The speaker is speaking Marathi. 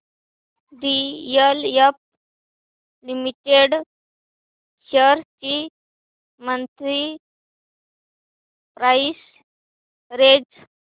डीएलएफ लिमिटेड शेअर्स ची मंथली प्राइस रेंज